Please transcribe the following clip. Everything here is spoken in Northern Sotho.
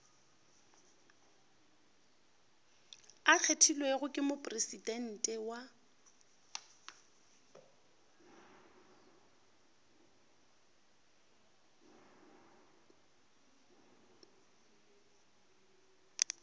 a kgethilwego ke mopresidente wa